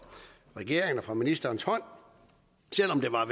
regeringen og fra ministerens hånd selv om der var